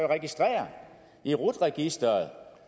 registrere i rut registeret